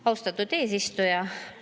Austatud eesistuja!